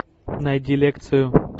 найди лекцию